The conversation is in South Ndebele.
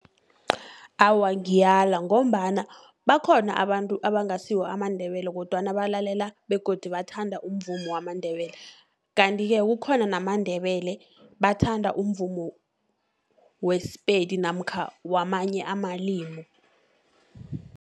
Awa ngiyala, ngombana bakhona abantu abangasiwo amaNdebele, kodwana balalela begodu bathanda umvumo wamaNdebele, kanti-ke kukhona namaNdebele bathanda umvumo weSePedi, namkha wamanye amalimi.